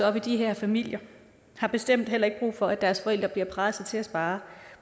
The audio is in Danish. op i de her familier har bestemt heller ikke brug for at deres forældre bliver presset til at spare